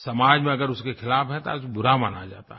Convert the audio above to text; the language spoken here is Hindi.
समाज में अगर उसके ख़िलाफ़ है तो आज बुरा माना जाता है